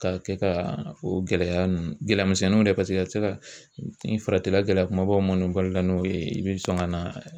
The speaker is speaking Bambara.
K'a kɛ ka o gɛlɛya ninnu gɛlɛya misɛnninw dɛ paseke a tɛ se ka ni faratila gɛlɛya kumabaw ma ɲɔbalo la n'o ye i bɛ sɔn ka na